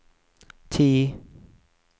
ti